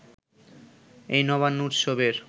এ নবান্ন উৎসবের